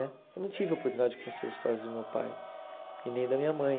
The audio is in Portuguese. Né? Eu não tive a oportunidade de conhecer as histórias do meu pai e nem da minha mãe.